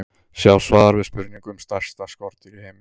Sjá svar við spurningu um stærsta skordýr í heimi.